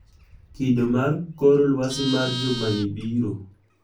Kido mar kor lwasi mar juma ni biro